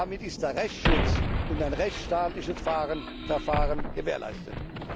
Damit sind der Rechtschutz und ein rechtsstaatliches Verfahren gewährleistet.